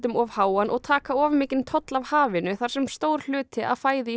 of háan og taka of mikinn toll af hafinu þar sem stór hluti af fæði í